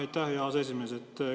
Aitäh, hea aseesimees!